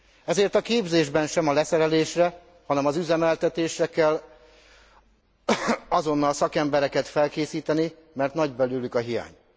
Ezért a képzésben sem a leszerelésre, hanem az üzemeltetésre kell azonnal szakembereket felkészíteni, mert nagy belőlük a hiány.